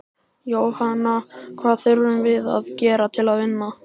Jóhanna: Hvað þurfum við að gera til að vinna?